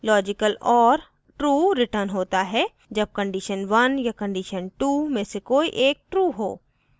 * logical or true returns होता है जब कंडीशन 1 या कंडीशन 2 में से कोई एक true हो